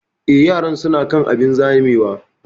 Eh, yaran su na kan abun zamewa